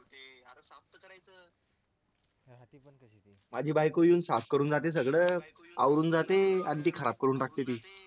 माझी बायको येऊन साफ करून जाते सगळं आवरून जाते आणि ती खराब करून टाकते ती